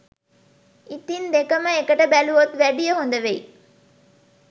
ඉතින් දෙකම එකට බැලුවොත් වැඩිය හොද වෙයි